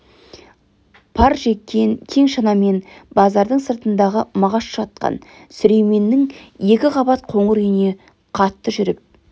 пар жеккен кең шанамен базардың сыртындағы мағаш жатқан сүлейменнің екі қабат қоңыр үйіне қатты жүріп